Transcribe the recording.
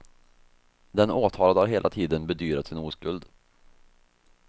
Den åtalade har hela tiden bedyrat sin oskuld.